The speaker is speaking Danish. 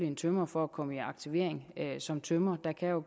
en tømrer fra at komme i aktivering som tømrer der kan jo